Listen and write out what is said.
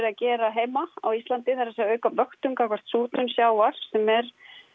að gera heima á Íslandi það er að segja auka vöktun gagnvart súrnun sjávar sem er